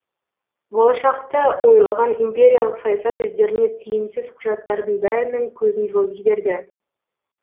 болашақты ойлаған империялық саясат өздеріне тиімсіз құжаттардың бәрінің көзін жойып жіберді